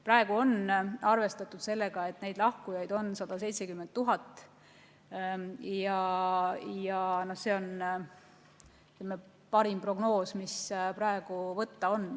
Praegu on arvestatud sellega, et lahkujaid on 170 000, ja see on parim prognoos, mis võtta on.